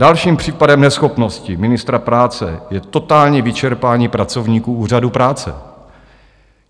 Dalším případem neschopnosti ministra práce je totální vyčerpání pracovníků úřadů práce.